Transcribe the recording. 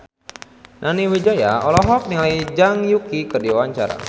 Nani Wijaya olohok ningali Zhang Yuqi keur diwawancara